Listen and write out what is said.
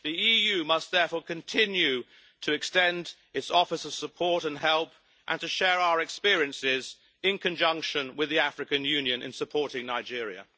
The EU must therefore continue to extend its offers of support and help, and to share our experience, in conjunction with the African Union, in supporting Nigeria.